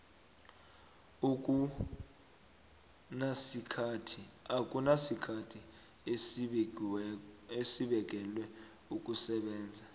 akunasikhathi esibekelwe ukusebenza